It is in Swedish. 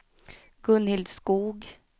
Gunhild Skoog